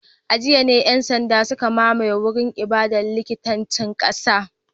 A jiya ne ‘yan sanda suka mamaye wurin ibadar likitancin kasar